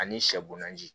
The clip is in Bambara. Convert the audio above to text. Ani sɛ bo na